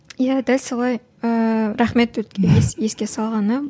иә дәл солай ыыы рахмет еске салғаныңа